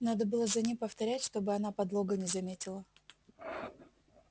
надо было за ним повторять чтобы она подлога не заметила